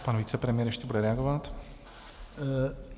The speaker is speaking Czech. Pan vicepremiér ještě bude reagovat.